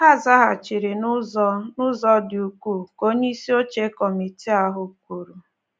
Ha zaghachiri n’ụzọ n’ụzọ dị ukwuu, ka onyeisi oche kọmitii ahụ kwuru.